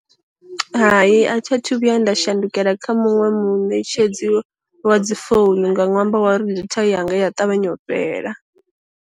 Hai a tha thu vhuya nda shandukela kha muṅwe munetshedzi wa dzi founu nga nwambo wa uri datha yanga i ya ṱavhanya u fhela.